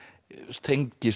tengist